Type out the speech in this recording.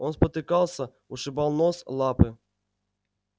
он спотыкался ушибал нос лапы